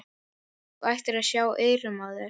Þú ættir að sjá eyrun á þér!